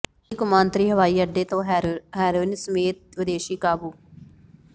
ਦਿੱਲੀ ਕੌਮਾਂਤਰੀ ਹਵਾਈ ਅੱਡੇ ਤੋਂ ਹੈਰੋਇਨ ਸਮੇਤ ਵਿਦੇਸ਼ੀ ਕਾਬੂ